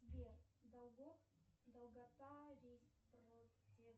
сбер долгота